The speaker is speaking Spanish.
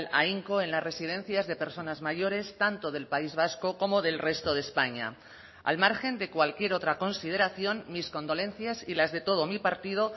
ahínco en las residencias de personas mayores tanto del país vasco como del resto de españa al margen de cualquier otra consideración mis condolencias y las de todo mi partido